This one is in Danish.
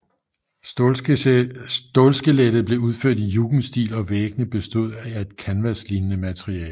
Stålskelettet var udført i jugendstil og væggene bestod af et kanvaslignende materiale